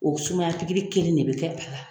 O sumaya pikiri kelen de bɛ kɛ a la.